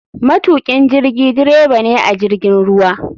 Matukin jirigi dreba ne a jirgin ruwa.